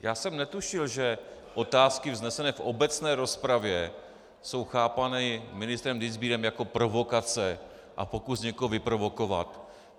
Já jsem netušil, že otázky vznesené v obecné rozpravě jsou chápány ministrem Dienstbierem jako provokace a pokus někoho vyprovokovat.